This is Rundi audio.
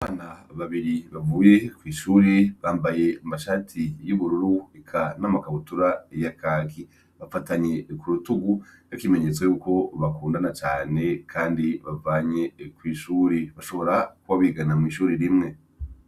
Abana babiri bavuye kwishure bambaye amashati y' ubururu eka n' amakabutura ya kaki bafatanye kurutugu nk' ikimenyetso yuko bakundana cane kandi bavanye kw' ishure bashobora kuba bigana mw' ishure rimwe.